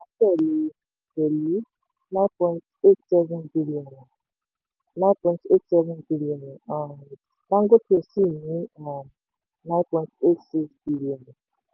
pẹ̀lú nine point eight seven billion nine point eight seven billion um dangote cement sì ní um nine point eight six billion.